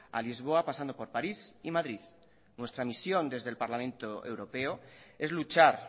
a lisboa pasando por parís y madrid nuestra misión desde el parlamento europeo es luchar